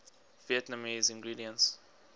vietnamese ingredients